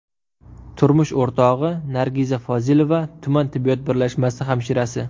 Turmush o‘rtog‘i Nargiza Fozilova tuman tibbiyot birlashmasi hamshirasi.